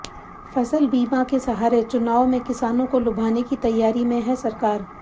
फसल बीमा के सहारे चुनाव में किसानों को लुभाने की तैयारी में है सरकार